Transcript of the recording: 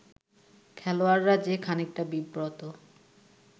খেলোয়াড়রা যে খানিকটা বিব্রত